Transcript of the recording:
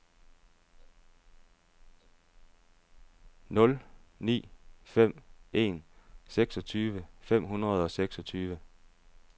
nul ni fem en seksogtyve fem hundrede og seksogtyve